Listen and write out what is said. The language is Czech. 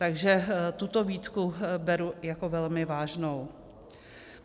Takže tuto výtku beru jako velmi vážnou.